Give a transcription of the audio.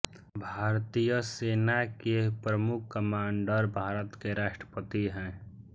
भारतीय सेना के प्रमुख कमांडर भारत के राष्ट्रपति हैं